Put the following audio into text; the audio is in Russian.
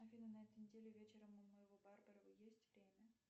афина на этой неделе вечером у моего барбера есть время